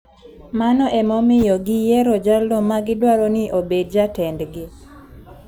Mano emomiyo giyiero jalno ma gidwaro ni obed jatendgi.